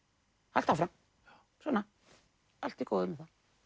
haltu áfram svona allt í góðu með